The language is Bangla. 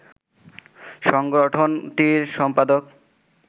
সংগঠনটির সম্পাদক